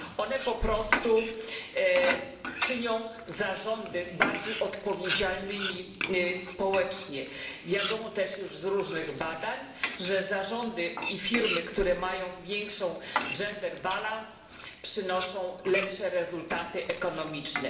One po prostu czynią zarządy bardziej odpowiedzialnymi społecznie. Wiadomo też już z różnych badań, że zarządy i firmy, które mają większą gender balance przynoszą lepsze rezultaty ekonomiczne.